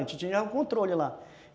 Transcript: A gente tinha o controle lá.